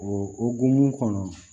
O o mun kɔnɔ